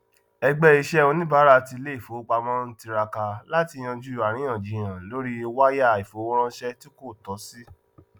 ẹgbẹ iṣẹ oníbàárà ti iléìfowópamọ ń tiraka láti yanjú àríyáǹjiyàn lórí wáyà ìfowóránsé tí kò tọ sí